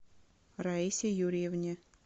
раисе юрьевне